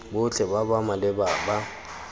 botlhe ba ba maleba ba